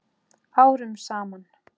Árum saman?